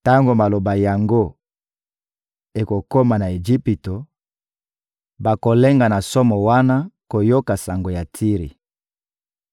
Tango maloba yango ekokoma na Ejipito, bakolenga na somo wana bakoyoka sango ya Tiri.